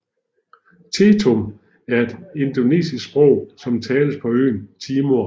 Tetum er et indonesisk sprog som tales på øen Timor